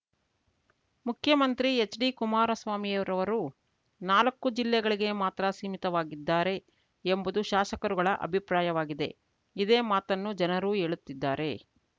ಮುಖ್ಯಮಂತ್ರಿ ಹೆಚ್ಡಿ ಕುಮಾರಸ್ವಾಮಿಯರವರು ನಾಲ್ಕು ಜಿಲ್ಲೆಗಳಿಗೆ ಮಾತ್ರ ಸೀಮಿತವಾಗಿದ್ದಾರೆ ಎಂಬುದು ಶಾಸಕರುಗಳ ಅಭಿಪ್ರಾಯವಾಗಿದೆ ಇದೇ ಮಾತನ್ನು ಜನರೂ ಹೇಳುತ್ತಿದ್ದಾರೆ